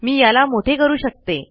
मी याला मोठे करू शकते